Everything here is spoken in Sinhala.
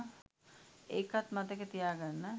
ඒකත් මතකෙ තියාගන්න